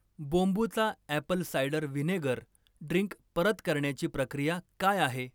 बोंबुचा apple cider vinegar drink परत करण्याची प्रक्रिया काय आहे?